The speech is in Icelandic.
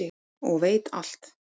og veit alt.